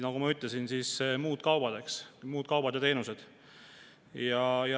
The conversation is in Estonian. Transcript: Nagu ma ütlesin, on veel muud kaubad ja teenused.